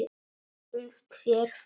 Finnst þér það?